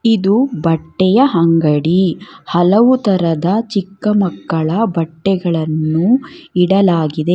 ಇದು ಬಟ್ಟೆಯ ಅಂಗಡಿ ಹಲವು ತರದ ಚಿಕ್ಕ ಮಕ್ಕಳ ಬಟ್ಟೆಗಳನ್ನು ಇಡಲಾಗಿದೆ.